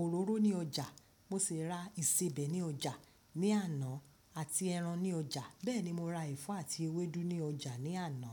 òróró ní ọjà, mo sì ra ìsebẹ̀ ní ọjà ní àná àti ẹran ní ọjà. Bẹ́ẹ̀ ni mo ra ẹ̀fọ́ àti eweédú ní ọjà ní àná.